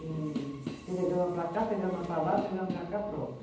E telegrama para cá, telegrama para lá, telegrama para cá, pronto.